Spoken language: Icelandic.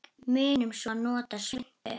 Munum svo að nota svuntu.